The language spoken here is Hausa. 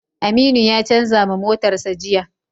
Aminu ya canza ma motarsa ​​jiya.